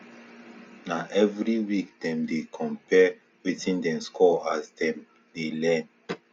na every week dem dey compare wetin dem score as dem dey learn